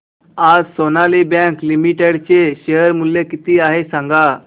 आज Sonali bank limited चे share मूल्य किती आहे सांगा